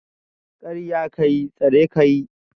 Karya ka yi, tsare ka yi